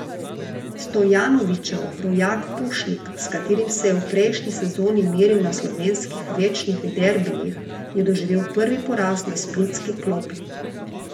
Stojanovićev rojak Pušnik, s katerim se je v prejšnji sezoni meril na slovenskih večnih derbijih, je doživel prvi poraz na splitski klopi.